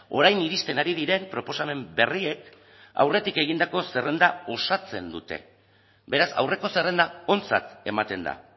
orain iristen ari diren proposamen berriek aurretik egindako zerrenda osatzen dute beraz aurreko zerrenda ontzat ematen da